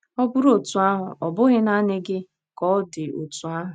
Ọ bụrụ otú ahụ, ọ bụghị naanị gị ka ọ dị otú ahụ.